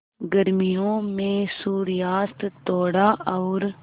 गर्मियों में सूर्यास्त थोड़ा और